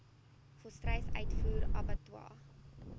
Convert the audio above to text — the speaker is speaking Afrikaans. volstruis uitvoer abattoirs